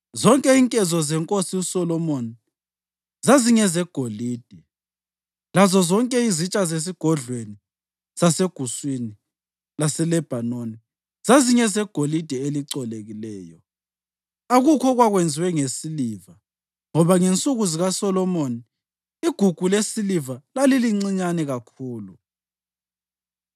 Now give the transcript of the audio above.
Zonke inkezo zenkosi uSolomoni zazingezegolide, lazozonke izitsha zeSigodlweni saseGuswini laseLebhanoni zazingezegolide elicolekileyo. Akukho okwakwenziwe ngesiliva ngoba ngensuku zikaSolomoni igugu lesiliva lalilincinyane kakhulu.